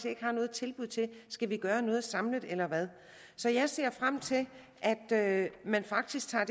ikke har noget tilbud til skal vi gøre noget samlet eller hvad så jeg ser frem til at man faktisk tager